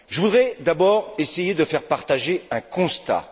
Je voudrais d'abord essayer de faire partager un constat.